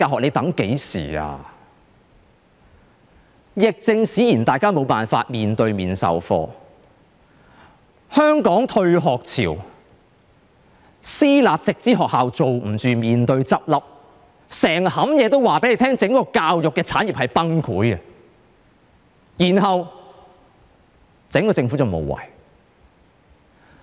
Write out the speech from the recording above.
由於疫症使然，大家無法面對面授課，香港爆發退學潮、私立直資學校又捱不下去面臨倒閉，所有事情也告訴大家整個教育產業面臨崩潰，但政府卻無為。